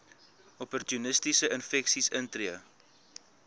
opportunistiese infeksies intree